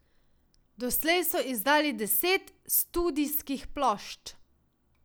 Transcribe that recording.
Doslej so izdali deset studijskih plošč.